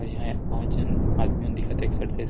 यहां बहुत झन आदमी मन दिखत हे एक्सरसाइज़ --